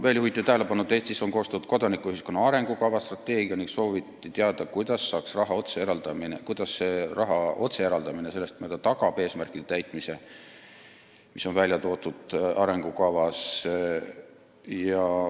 Veel juhiti tähelepanu, et Eestis on koostatud kodanikuühiskonna arengukava, ning sooviti teada, kuidas tagab selline raha otsene eraldamine eesmärgi täitmise, mis on arengukavas välja toodud.